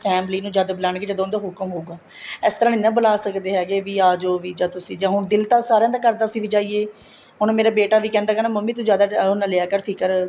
family ਨੂੰ ਜਦ ਬੂਲਾਣ ਗਏ ਜਦੋਂ ਉਹਨਾ ਦਾ ਹੁਕਮ ਹੋਉਗਾ ਇਸ ਤਰ੍ਹਾਂ ਨਹੀਂ ਬੂਲਾ ਸਕਦੇ ਹੈਗੇ ਵੀ ਆਜੋ ਵੀ ਜਦ ਤੁਸੀਂ ਹੁਣ ਦਿਲ ਤਾਂ ਸਾਰਿਆ ਦਾ ਕਰਦਾ ਅਸੀਂ ਵੀ ਜਾਈਏ ਹੁਣ ਮੇਰਾ ਬੇਟਾ ਵੀ ਕਹਿੰਦਾ ਮੰਮੀ ਤੂੰ ਜਿਆਦਾ ਉਹ ਨਾ ਲਿਆ ਕਰ ਫ਼ਿਕਰ